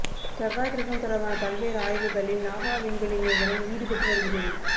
செவ்வாய் கிரகம் தொடர்பான பல்வேறு ஆய்வுகளில் நாசா விண்வெளி நிறுவனம் ஈடுபட்டு வருகிறது